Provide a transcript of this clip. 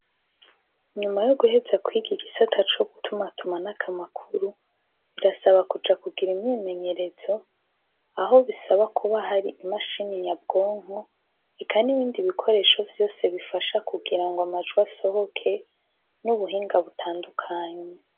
Inyuma yo guheza kwiga igisata co gutuma atuma n'akamakuru birasaba kuja kugira imyemenyerezo aho bisaba kuba hari imashini nyabwonko heka n'ibindi bikoresho vyose bifasha kugira ngo amajwi asohoke n'ubuhinga butandukanye.